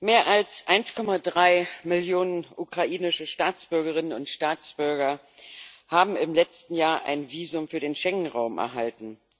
Mehr als 1,3 Millionen ukrainische Staatsbürgerinnen und Staatsbürger haben im letzten Jahr ein Visum für den Schengen Raum erhalten.